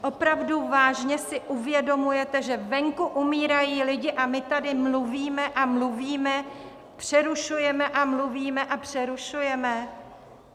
Opravdu vážně si uvědomujete, že venku umírají lidi a my tady mluvíme a mluvíme, přerušujeme a mluvíme a přerušujeme?